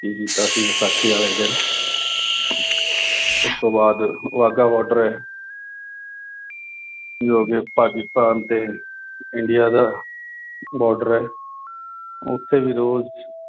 ਕੀ ਕੀਤਾ ਸੀ, ਵਿਸਾਖੀ ਵਾਲੇ ਦਿਨ। ਉਸ ਤੋਂ ਬਾਅਦ ਬਾਘਾ border ਆ। ਜੋ ਕਿ ਪਾਕਿਸਤਾਨ ਤੇ ਇੰਡੀਆ ਦਾ border ਆ। ਉਥੇ ਵੀ ਰੋਜ਼੍ਹ